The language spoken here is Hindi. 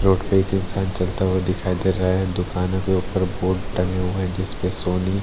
रोड पे एक इंसान चलता हुआ दिखाई दे रहा है दुकानों के ऊपर बोर्ड टंगे हुए हैं जिस पे सोनी--